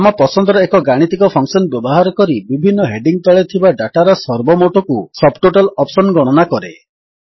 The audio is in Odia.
ଆମ ପସନ୍ଦର ଏକ ଗାଣିତିକ ଫଙ୍କସନ୍ ବ୍ୟବହାର କରି ବିଭିନ୍ନ ହେଡିଙ୍ଗ୍ ତଳେ ଥିବା ଡାଟାର ସର୍ବମୋଟକୁ ସବଟୋଟାଲ ଅପ୍ସନ୍ ଗଣନା କରେ